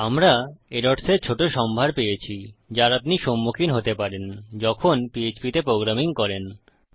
আমরা এরর্স এর ছোট সম্ভার পেয়েছি যার আপনি সম্মুখীন হতে পারেন যখন পিএচপি তে প্রোগ্রামিং করেন